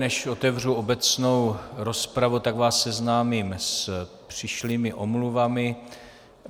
Než otevřu obecnou rozpravu, tak vás seznámím s přišlými omluvami.